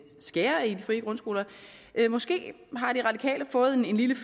skære ned på de frie grundskoler måske har de radikale fået en lille